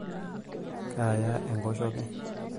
kaya enkoshoke